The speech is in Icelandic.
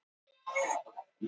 Verður að fara eftir reglunum.